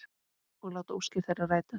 Og láta óskir þeirra rætast.